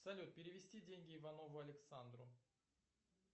салют перевести деньги иванову александру